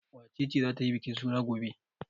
Wace ce za ta yi bikin suna gobe?